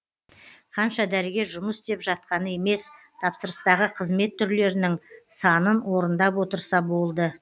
қанша дәрігер жұмыс істеп жатқаны емес тапсырыстағы қызмет түрлерінің санын орындап отырса болды